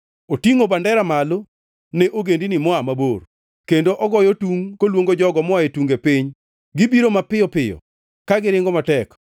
Otingʼo bandera malo ne ogendini moa mabor, kendo ogoyo tungʼ koluongo jogo moa e tunge piny. Gibiro mapiyo piyo ka giringo matek.